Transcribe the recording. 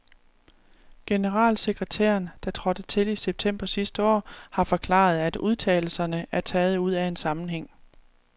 Generalsekretæren, der trådte til i september sidste år, har forklaret, at udtalelserne er taget ud af en sammenhæng.